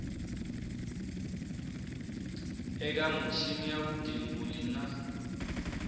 eka michini ya vugembuli na